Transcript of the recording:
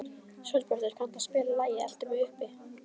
Sólbjartur, kanntu að spila lagið „Eltu mig uppi“?